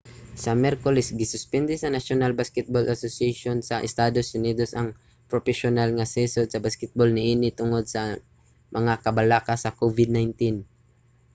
sa miyerkules gisuspende sa national basketball association nba sa estados unidos ang propesyonal nga season sa basketbol niini tungod sa mga kabalaka sa covid-19